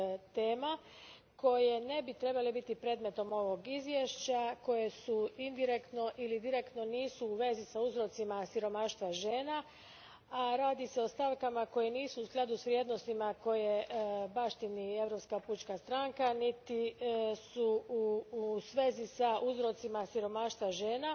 tema koje ne bi trebale biti predmetom ovog izvješća, koje nisu direktno ili indirektno u vezi s uzrocima siromaštva žena, a radi se o stavkama koje nisu u skladu s vrijednostima koje baštini Europska pučka stranka niti su u vezi s uzrocima siromaštva žena.